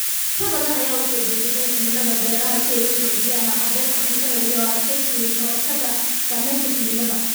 Bulsho badan ayaa u soo jeestay cilmiga beeraha si ay u xoojiyaan haqab-beelka cuntada iyo u adkeysiga ka hortagga saameynta cimilada.